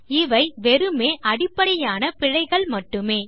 இவை வெறுமே அடிப்படையான பிழைகள் மட்டுமே